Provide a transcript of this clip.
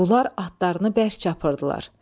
Bunlar atlarını bərk çapırdılar.